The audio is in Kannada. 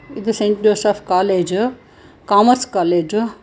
ಇದು saint Joseph college commerce college.